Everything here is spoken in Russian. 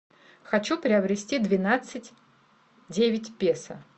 хочу приобрести двенадцать девять песо